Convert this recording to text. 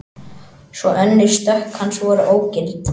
Tvö önnur stökk hans voru ógild